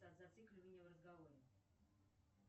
зацикливание в разговоре